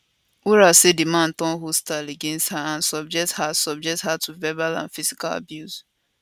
wura say di man turn hostile against her and subject her subject her to verbal and physical abuse